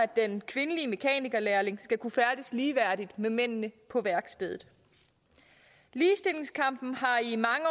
den kvindelige mekanikerlærling skal kunne færdedes ligeværdigt med mændene på værkstedet ligestillingskampen har i mange